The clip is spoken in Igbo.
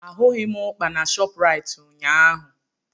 Ahụghị ụkpà na Shopraịt ụnyaahụ.